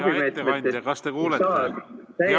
Hea ettekandja, kas te kuulete?